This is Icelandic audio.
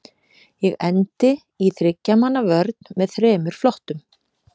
Ég endi í þriggja manna vörn með þremur flottum.